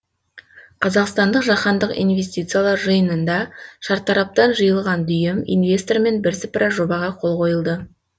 қазақстандық жаһандық инвестициялар жиынында шартараптан жиылған дүйім инвестормен бірсыпыра жобаға қол қойылды